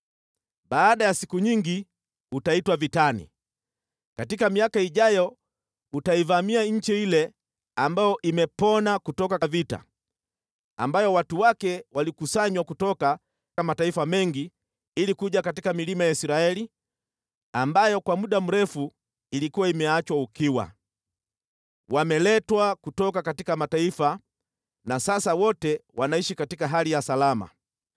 Baada ya siku nyingi utaitwa vitani. Katika miaka ijayo, utaivamia nchi ile ambayo imepona kutoka vita, ambayo watu wake walikusanywa kutoka mataifa mengi kuja katika milima ya Israeli, ambayo kwa muda mrefu ilikuwa imeachwa ukiwa. Wameletwa kutoka mataifa na sasa wote wanaishi katika hali ya salama.